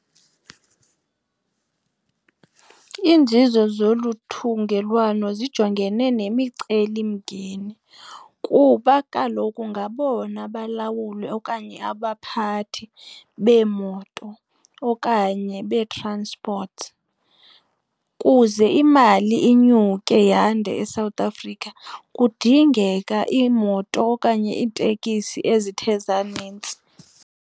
Iinzuzo zolu thungelwano zijongene nemicelimngeni kuba kaloku ngabona balawuli okanye abaphathi beemoto okanye bee-transport. Kuze imali inyuke yande eSouth Africa kudingeka iimoto okanye iitekisi ezithe zanintsi.